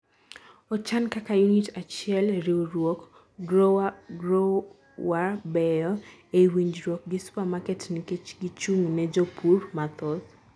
ochan kaka unit achiel, riwruok growerbeyo ei winjruok gi supermarket nikech gi chung' ne jopur mathoth